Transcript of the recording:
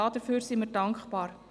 Dafür sind wir dankbar.